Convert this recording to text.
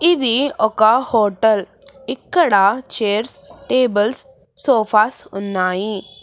ఇది ఒక హోటల్ ఇక్కడ చైర్స్ టేబుల్స్ సోఫాస్ ఉన్నాయి.